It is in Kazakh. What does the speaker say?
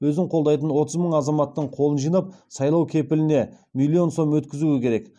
өзін қолдайтын отыз мың азаматтың қолын жинап сайлау кепіліне миллион сом өткізуі керек